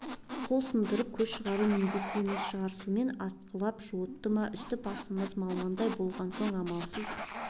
қол сындырып көз шығару міндет емес шығар сумен атқылап жуытты ма үсті-басымыз малмандай болған соң амалсыз